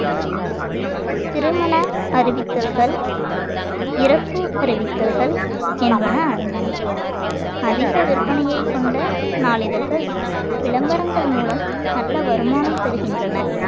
திருமண அறிவித்தல்கள் இறப்பு அறிவித்தல்கள் என்பன அடங்கும் அதிக விற்பனையைக் கொண்ட நாளிதழ்கள் விளம்பரங்கள் மூலம் நல்ல வருமானம் பெறுகின்றன